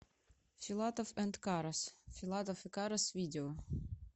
филатов энд карас филатов и карас видео